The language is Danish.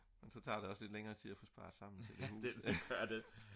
men så tager det også længere tid at få sparet sammen til et hus